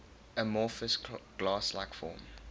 amorphous glass like form